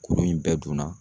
Kuru in bɛɛ dun na